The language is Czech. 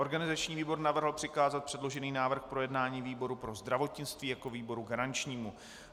Organizační výbor navrhl přikázat předložený návrh k projednání výboru pro zdravotnictví jako výboru garančnímu.